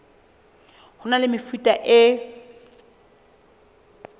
ho na le mefuta e